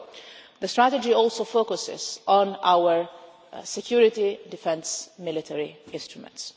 So the strategy also focuses on our security, defence and military instruments.